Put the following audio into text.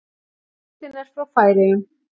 Myndin er frá Færeyjum.